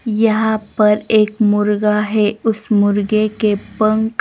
यहां पर एक मुर्गा है उस मुर्गे के पंख--